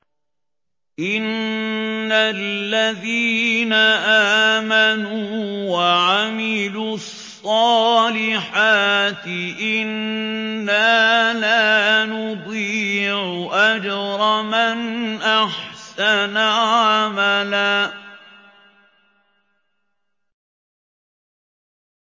إِنَّ الَّذِينَ آمَنُوا وَعَمِلُوا الصَّالِحَاتِ إِنَّا لَا نُضِيعُ أَجْرَ مَنْ أَحْسَنَ عَمَلًا